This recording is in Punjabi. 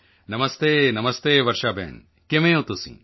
ਨਮਸਤੇ ਨਮਸਤੇ ਵਰਸ਼ਾ ਭੈਣ ਕਿਵੇਂ ਹੋ ਤੁਸੀਂ